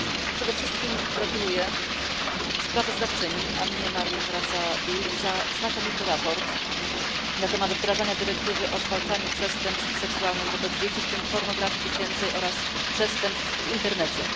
Przede wszystkim gratuluję sprawozdawczyni Annie Marii Corazza Bildt znakomitego sprawozdania na temat wdrażania dyrektywy o zwalczaniu przestępstw seksualnych wobec dzieci, w tym pornografii dziecięcej oraz przestępstw w internecie.